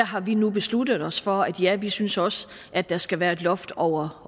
har vi nu besluttet os for at ja vi synes også at der skal være et loft over